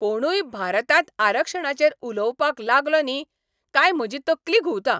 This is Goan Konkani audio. कोणूय भारतांत आरक्षणाचेर उलोवपाक लागलो न्ही, काय म्हजी तकली घुंवता.